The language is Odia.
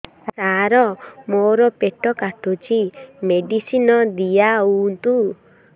ସାର ମୋର ପେଟ କାଟୁଚି ମେଡିସିନ ଦିଆଉନ୍ତୁ